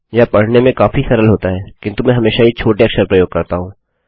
यह पढने में काफी सरल होता है किन्तु मैं हमेशा ही छोटे अक्षर पसंद करता हूँ